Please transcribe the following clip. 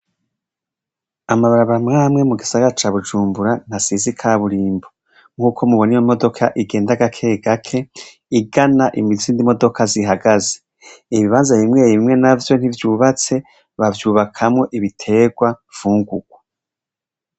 Amabarabara amwe amwe ntasize ikaburimbo nk'uko mubona iyo modoka igenda gake gake igana Izindi modoka zihagaze ibibanza bimwe bimwe ntivyubatse bavyubakamwo ibiterwa ibifungurwa .